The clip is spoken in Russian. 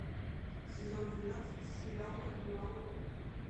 сезон двенадцать сериал карнивал роу